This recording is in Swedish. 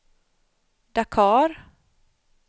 Dakar